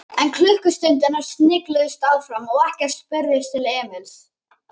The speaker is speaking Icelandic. En klukkustundirnar snigluðust áfram og ekkert spurðist til Emils.